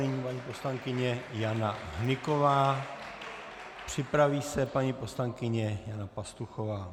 Nyní paní poslankyně Jana Hnyková, připraví se paní poslankyně Jana Pastuchová.